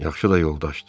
Yaxşı da yoldaşdır.